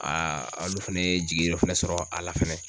alu fɛnɛ ye jigi yɔrɔ fɛnɛ sɔrɔ a la fɛnɛ